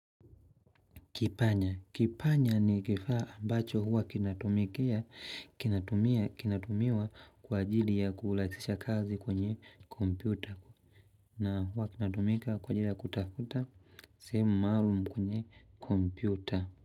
Kipanya. Kipanya ni kifaa ambacho huwa kinatumikia, kinatumia, kinatumiwa kwa ajili ya kulaisisha kazi kwenye kompyuta. Na huwa kinatumika kwa ajili ya kutafuta semu maalum kwenye kompyuta.